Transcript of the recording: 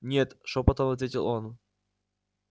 нет шёпотом ответил он